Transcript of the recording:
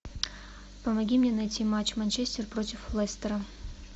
помоги мне найти матч манчестер против лестера